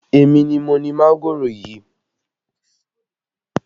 Èmi ni mo ni mángòrò yìí